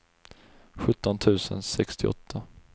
sjutton tusen sextioåtta